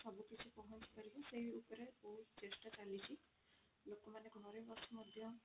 ସବୁ କିଛି ପହଞ୍ଚି ପାରିବ ସେଇ ଉପରେ ବହୁତ ଚେଷ୍ଟା ଚାଲିଛି ଲୋକମାନେ ଘରେ ବସି ମଧ୍ୟ